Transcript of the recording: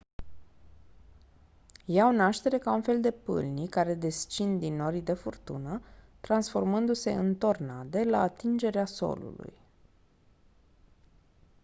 iau naștere ca un fel de pâlnii care descind din norii de furtună transformându-se în «tornade» la atingerea solului.